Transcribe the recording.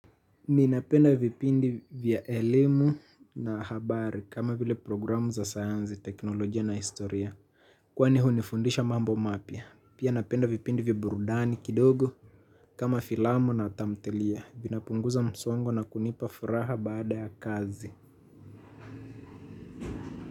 Ninapenda vipindi vya elimu na habari kama vile programu za sayansi, teknolojia na historia. Kwani hunifundisha mambo mapya. Pia napenda vipindi vya burudani kidogo kama filamu na tamthilia. Vinapunguza msongo na kunipa furaha baada ya kazi.